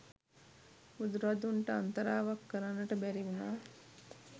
බුදුරදුන්ට අන්තරාවක් කරන්නට බැරි වුණා.